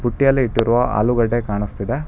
ಪುಟ್ಟಿಯಲ್ಲಿ ಇಟ್ಟಿರುವ ಆಲೂಗೆಡ್ಡೆ ಕಾಣಿಸ್ತಾ ಇದೆ.